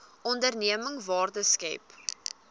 onderneming waarde skep